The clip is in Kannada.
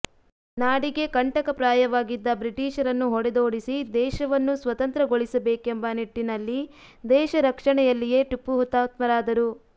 ನಾಡಿಗೆ ಕಂಠಕ ಪ್ರಾಯವಾಗಿದ್ದ ಬ್ರಿಟೀಷರನ್ನು ಹೊಡೆದೋಡಿಸಿ ದೇಶವನ್ನು ಸ್ವತಂತ್ರಗೊಳಿಸಬೇಕೆಂಬ ನಿಟ್ಟಿನಲ್ಲಿ ದೇಶ ರಕ್ಷಣೆಯಲ್ಲಿಯೇ ಟಿಪ್ಪು ಹುತಾತ್ಮರಾದರು